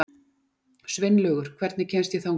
Sveinlaugur, hvernig kemst ég þangað?